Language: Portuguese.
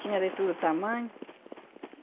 Tinha de todo tamanho.